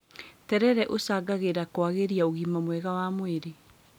Terere ũcangagĩra kwagĩria ũgima mwega wa mwĩrĩ